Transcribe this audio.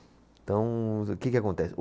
Então, o que que acontece?